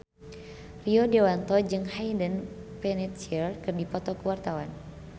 Rio Dewanto jeung Hayden Panettiere keur dipoto ku wartawan